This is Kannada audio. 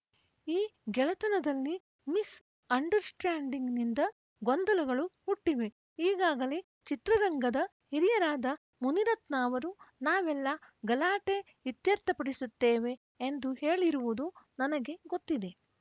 ಈ ಗೆಳೆತನದಲ್ಲಿ ಮಿಸ್‌ ಅಂಡರ್‌ಸ್ಟ್ಯಾಂಡಿಂಗ್‌ನಿಂದ ಗೊಂದಲಗಳು ಹುಟ್ಟಿವೆ ಈಗಾಗಲೇ ಚಿತ್ರರಂಗದ ಹಿರಿಯರಾದ ಮುನಿರತ್ನ ಅವರು ನಾವೆಲ್ಲಾ ಗಲಾಟೆ ಇತ್ಯರ್ಥಪಡಿಸುತ್ತೇವೆ ಎಂದು ಹೇಳಿರುವುದು ನನಗೆ ಗೊತ್ತಿದೆ